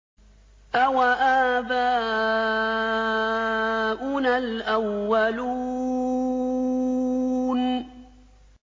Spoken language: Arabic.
أَوَآبَاؤُنَا الْأَوَّلُونَ